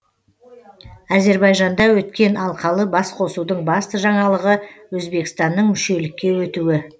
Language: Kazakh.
әзербайжанда өткен алқалы басқосудың басты жаңалығы өзбекстанның мүшелікке өтуі